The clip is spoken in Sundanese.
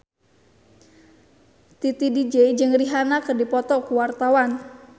Titi DJ jeung Rihanna keur dipoto ku wartawan